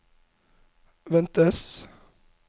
ventes